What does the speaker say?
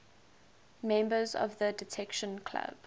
members of the detection club